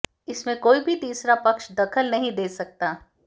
इसमें कोई भी तीसरा पक्ष दखल नहीं दे सकता